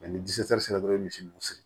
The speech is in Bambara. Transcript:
ni sera dɔrɔn i bɛ misiw siri